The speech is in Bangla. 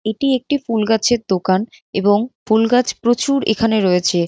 এটি একটি ফুল গাছের দোকান এবং ফুল গাছ প্রচুর এখানে রয়েছে।